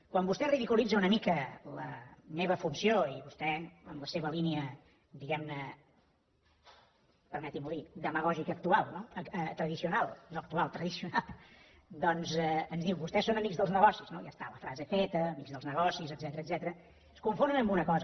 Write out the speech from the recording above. quan vostè ridiculitza una mica la meva funció i vostè en la seva línia diguem ne permeti m’ho dir demagògica tradicional doncs ens diu vostès són amics dels negocis no ja està la frase feta amics dels negocis etcètera es confonen en una cosa